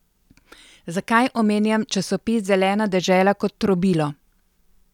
Zakaj omenjam časopis Zelena dežela kot trobilo?